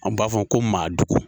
Anw b'a fɔ ko maa dugu.